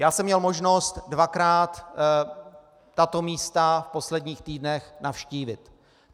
Já jsem měl možnost dvakrát tato místa v posledních týdnech navštívit.